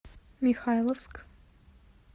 михайловск